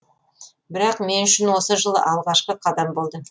бірақ мен үшін осы жылы алғашқы қадам болды